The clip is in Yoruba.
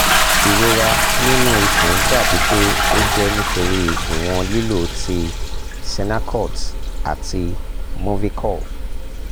irora ninu ikun dabi pe o jẹ nitori iwọn lilo ti sennacot ati movicol